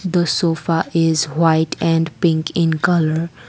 the sofa is white and pink in colour.